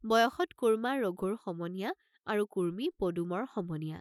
বয়সত কোৰ্ম্মা ৰঘুৰ সমনীয়া আৰু কুৰ্ম্মী পদুমৰ সমনীয়া।